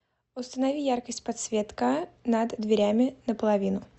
установи яркость подсветка над дверями на половину